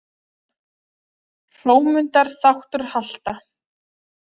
Hrómundar þáttr halta.